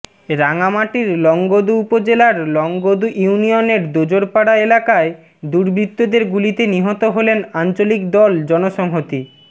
রাঙামাটির লংগদু উপজেলার লংগদু ইউনিয়নের দোজরপাড়া এলাকায় দুর্বৃত্তদের গুলিতে নিহত হলেন আঞ্চলিক দল জনসংহতি